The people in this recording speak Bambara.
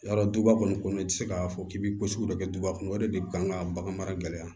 Yarɔ duba kɔni kɔnɔ i tɛ se k'a fɔ k'i bɛ ko sugu dɔ kɛ duba kɔnɔ o de bɛ kan ka bagan mara gɛlɛya